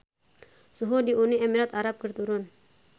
Suhu di Uni Emirat Arab keur turun